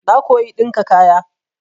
Na koyi ɗinka kaya.